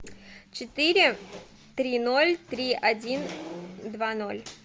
четыре три ноль три один два ноль